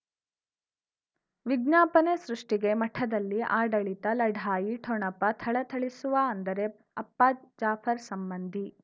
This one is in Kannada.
ವಿಜ್ಞಾಪನೆ ಸೃಷ್ಟಿಗೆ ಮಠದಲ್ಲಿ ಆಡಳಿತ ಲಢಾಯಿ ಠೊಣಪ ಥಳಥಳಿಸುವ ಅಂದರೆ ಅಪ್ಪ ಜಾಫರ್ ಸಂಬಂಧಿ